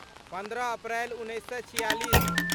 पन्द्रह अप्रैल उन्नैस सए छिआलिस